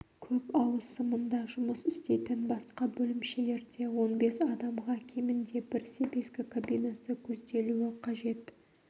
көп ауысымында жұмыс істейтін басқа бөлімшелерде он бес адамға кемінде бір себезгі кабинасы көзделуі қажет